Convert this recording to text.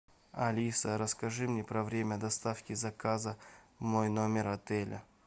алиса расскажи мне про время доставки заказа в мой номер отеля